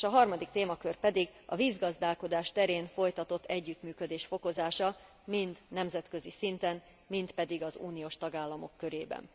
A harmadik témakör pedig a vízgazdálkodás terén folytatott együttműködés fokozása, mind a nemzetközi szinten, mind pedig az uniós tagállamok körében.